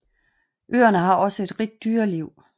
Øerne har ògså et rigt dyreliv